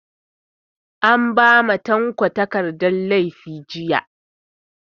An ba ma tanko takardan laifi jiya